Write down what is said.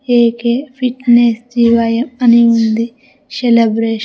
AK fitness జీవయం అని ఉంది సెలెబ్రేషన్ .